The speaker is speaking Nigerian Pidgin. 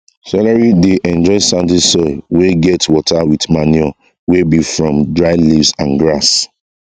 celery dey enjoy sandy soil wey get water with manure wey be from dry leaves and grass